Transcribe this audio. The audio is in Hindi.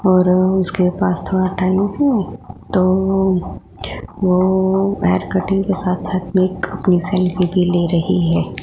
और उसके पास थोड़ा टाइम है तो वो वो और हेयर कटिंग के साथ साथ में एक अपनी एक सेल्फी भी ले रही है।